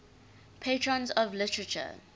patrons of literature